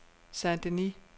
Saint-Denis